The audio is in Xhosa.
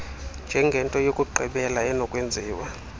njengento yokugqibela enokwenziwa